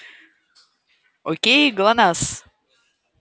окей глонассс